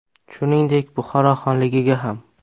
Shuningdek, Buxoro xonligiga ham.